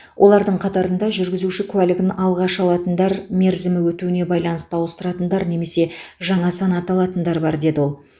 олардың қатарында жүргізуші куәлігін алғаш алатындар мерзімі өтуіне байланысты ауыстыратындар немесе жаңа санат алатындар бар деді ол